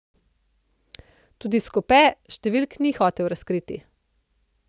Tudi Skobe številk ni hotel razkriti.